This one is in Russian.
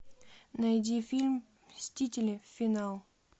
найди фильм мстители финал